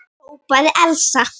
hrópaði Elsa.